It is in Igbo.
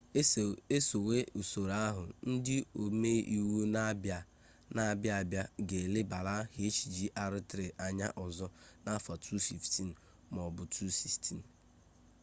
esowe usoro ahụ ndị ome iwu na-abịa abịa ga elebara hjr-3 anya ọzọ n'afọ 2015 m'ọbụ 2016